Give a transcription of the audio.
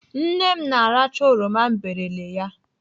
Nne m na-aracha oroma m berele ya.